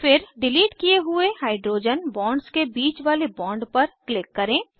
फिर डिलीट किये हुए हाइड्रोजन बॉन्ड्स के बीच वाले बॉन्ड पर क्लिक करें